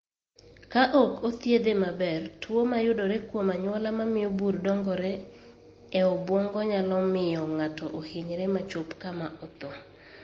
Ka ok othiedhe maber, tuo mayudore kuom anyuola mamio bur dongore e obwongo nyalo miyo ng'ato ohinyre ma chop kama otho.